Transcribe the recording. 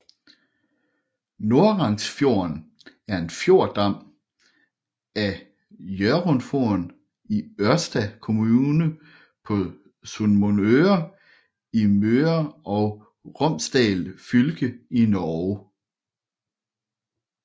Norangsfjorden er en fjordarm af Hjørundfjorden i Ørsta kommune på Sunnmøre i Møre og Romsdal fylke i Norge